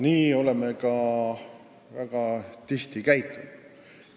Nii oleme ka väga tihti käitunud.